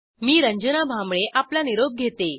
मी रंजना भांबळे आपला निरोप घेते